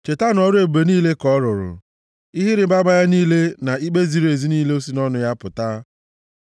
Chetanụ ọrụ ebube niile nke ọ rụrụ, ihe ịrịbama ya niile na ikpe ziri ezi niile si nʼọnụ ya pụta,